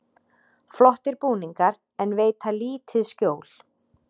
Flottir búningar en veita lítið skjól